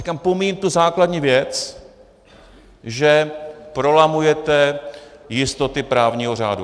Říkám, pomíjím tu základní věc, že prolamujete jistoty právního řádu.